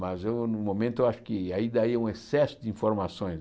Mas eu no momento eu acho que aí daí é um excesso de informações.